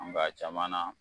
Ɔ n ka a caman na